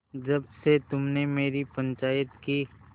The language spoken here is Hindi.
जब से तुमने मेरी पंचायत की